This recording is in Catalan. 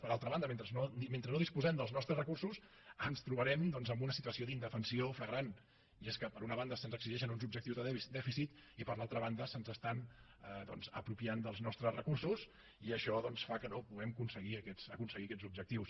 per altra banda mentre no disposem dels nostres recursos ens trobarem en una situació d’indefensió flagrant i és que per una banda se’ns exigeixen uns objectius de dèficit i per l’altra banda s’apropien els nostres recursos i això fa que no puguem aconseguir aquests objectius